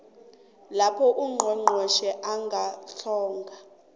lapho ungqongqotjhe angahlongoza